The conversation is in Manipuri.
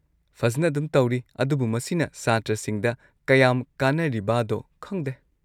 ꯐꯖꯟꯅ ꯑꯗꯨꯝ ꯇꯧꯔꯤ ꯑꯗꯨꯕꯨ ꯃꯁꯤꯅ ꯁꯥꯇ꯭ꯔꯁꯤꯡꯗ ꯀꯌꯥꯝ ꯀꯥꯟꯅꯔꯤꯕꯥꯗꯣ ꯈꯪꯗꯦ꯫